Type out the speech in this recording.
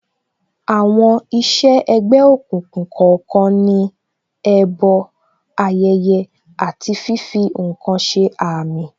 Àwọn iṣẹ́ ẹ̀gbẹ́ òkùnkùn kọ̀ọ̀kan ní, ẹbọ, ayẹyẹ, àti fífi ǹkan ṣe àmì